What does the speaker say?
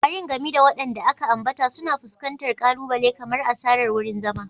Ƙwarin, gami da waɗanda aka ambata, suna fuskantar ƙalubale kamar asarar wurin zama.